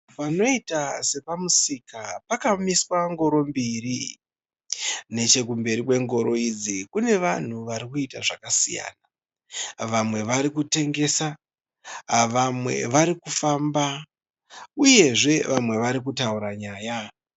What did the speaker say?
Panoita sepamusika pakamiswa ngoro mbiri. Nechekumberi kwengoro idzi kune vanhu vari kuita zvakasiyana. Vamwe vari kutengesa, vamwe vari kufamba uyezve vamwe vari kutaura nyaya.